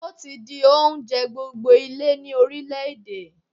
Túwó ti di oúnjẹ gbogbo ilé ni orílẹ̀ èdè.